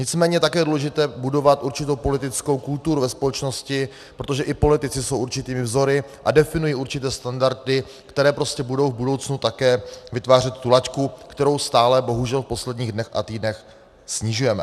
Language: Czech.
Nicméně také je důležité budovat určitou politickou kulturu ve společnosti, protože i politici jsou určitými vzory a definují určité standardy, které prostě budou v budoucnu také vytvářet tu laťku, kterou stále bohužel v posledních dnech a týdnech snižujeme.